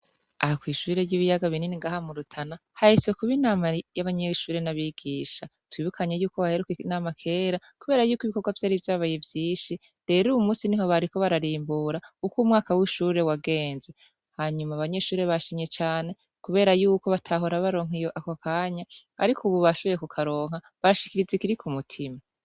Aha kw'ishure ry'ibiyaga binini ngahamurutana hahiswe kuba inama y'abanyeshure n'abigisha tubibukanye yuko haheruke inama kera, kubera yuko ibikorwa vy'ari vyabaye ivyishi rero uwu musi ni ho bariko bararimbura uko umwaka w'ishure wagenze, hanyuma abanyeshure bashimye cane, kubera yuko batahora baronkaiye ako kanya, ariko ububashaze kukaronka bashikirize kiri ku mutima.